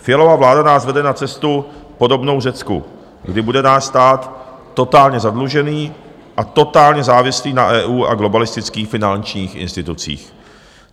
Fialova vláda nás vede na cestu podobnou Řecku, kdy bude náš stát totálně zadlužený a totálně závislý na EU a globalistických finančních institucích.